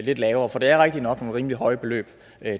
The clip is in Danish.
lidt lavere for det er rigtig nok nogle rimelig høje beløb